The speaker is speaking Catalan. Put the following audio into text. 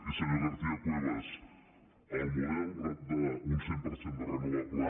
i senyora garcia cuevas el model d’un cent per cent de renovables